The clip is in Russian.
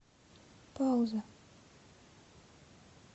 пауза